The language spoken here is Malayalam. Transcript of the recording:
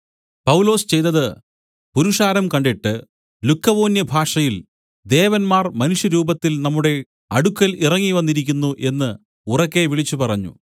പൗലൊസ് ചെയ്തത് പുരുഷാരം കണ്ടിട്ട് ലുക്കവോന്യഭാഷയിൽ ദേവന്മാർ മനുഷ്യരൂപത്തിൽ നമ്മുടെ അടുക്കൽ ഇറങ്ങിവന്നിരിക്കുന്നു എന്ന് ഉറക്കെ വിളിച്ചു പറഞ്ഞു